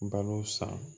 Balo san